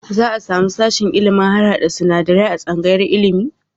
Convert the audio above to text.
Za a samu sashen ilimin harhaɗa sinadarai a tsangayar ilimi?